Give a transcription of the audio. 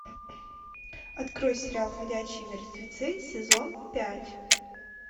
открой сериал ходячие мертвецы сезон пять